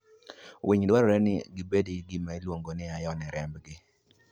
Winy dwarore nigi gibed gi gima iluongo ni iron e rembgi.